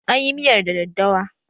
An yi miyar da daddawa